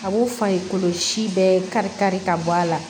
A b'o fari si bɛɛ kari-kari ka bɔ a la